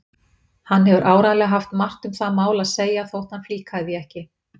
Hann hefur áreiðanlega haft margt um það mál að segja þótt hann flíkaði því ekki.